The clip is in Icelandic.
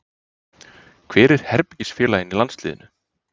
Hver er herbergisfélaginn í landsliðinu?